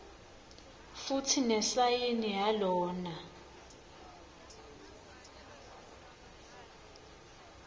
futsi nesayini yalona